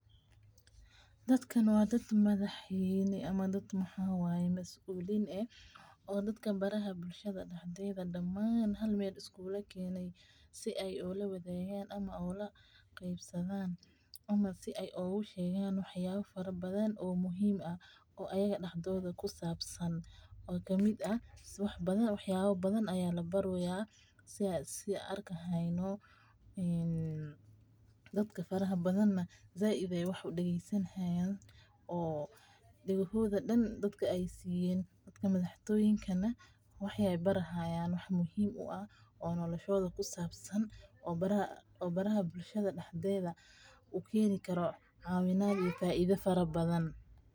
Dadkan wa dadmadaxine ama dad maxawaye masuline oo dadkan baraha bulshada daxdeda daman halmel iskugukene si ay o lawadagan ama qebsadan ama ay ogushegan waxyaba farabadan oo muhim ah oo ayaga daxdoda ku sabsan oo kamid ah wax yawa badan yalabareya sian arkahayno dadaka faraha badan said ay wax u dageysanihaya oo dagahoda dan dadaka ay siyen, dadaka madax toyinkana waxi ay barihayan wax muhim u ha oo noloshoda kusabsan oo baraha bulshada daxdeda ukenikaro cawinad iyo faida farabadan.